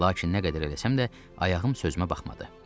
Lakin nə qədər eləsəm də, ayağım sözümə baxmadı.